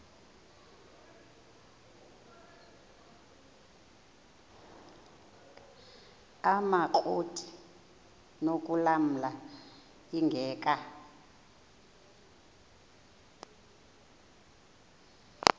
amakrot anokulamla ingeka